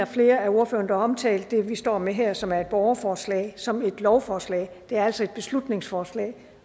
flere af ordførerne der omtalte det vi står med her og som er et borgerforslag som et lovforslag det er altså et beslutningsforslag